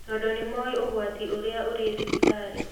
Tondũ nĩmoĩ ũgwati ũrĩa ũrĩ thibitarĩ